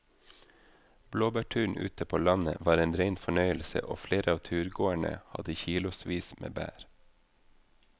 Blåbærturen ute på landet var en rein fornøyelse og flere av turgåerene hadde kilosvis med bær.